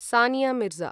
Sania Mirza